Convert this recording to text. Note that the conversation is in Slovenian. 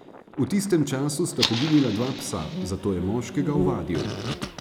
V tistem času sta poginila dva psa, zato je moškega ovadil.